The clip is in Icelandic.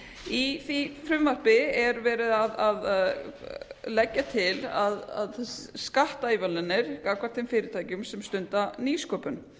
í því frumvarpi er verið að leggja til að skattaívilnanir gagnvart þeim fyrirtækjum sem stunda nýsköpun